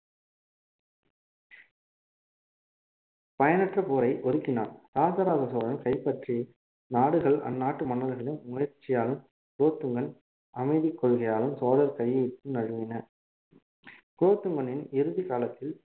பயனற்ற போரை ஒதுக்கினார் ராஜராஜ சோழன் கைப்பற்றி நாடுகள் அந்நாட்டு மன்னர்களின் முயற்சியாலும் குலோத்துங்கன் அமைதி கொள்கையாலும் சோழர் கையை விட்டு நழுவின குலோத்துங்கனின் இறுதி காலத்தில்